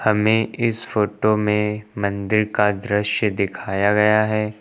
हमें इस फोटो में मंदिर का दृश्य दिखाया गया है।